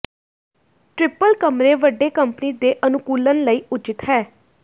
triple ਕਮਰੇ ਵੱਡੇ company ਦੇ ਅਨੁਕੂਲਣ ਲਈ ਉੱਚਿਤ ਹੈ